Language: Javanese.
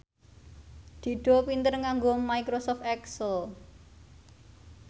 Dido pinter nganggo microsoft excel